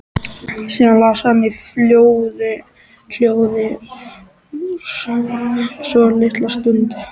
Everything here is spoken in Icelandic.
Síðan las hann í hljóði svolitla stund.